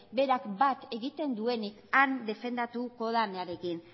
berak bat egiten duenik han defendatuko denarekin